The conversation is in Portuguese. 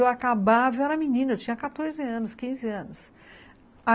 Eu acabava, eu era menina, eu tinha quatorze anos, quinze anos.